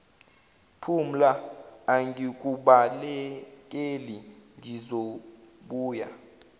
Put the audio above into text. phumla angikubalekeli ngizobuya